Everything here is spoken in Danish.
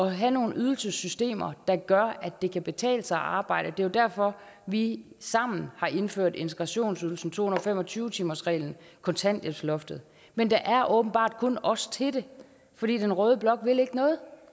at have nogle ydelsessystemer der gør at det kan betale sig at arbejde jo derfor vi sammen har indført integrationsydelsen to hundrede og fem og tyve timersreglen og kontanthjælpsloftet men der er åbenbart kun os til det fordi den røde blok ikke vil noget